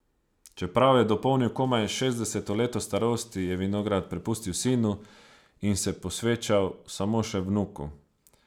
Čeprav je dopolnil komaj šestdeseto leto starosti, je vinograd prepustil sinu in se posvečal samo še vnuku.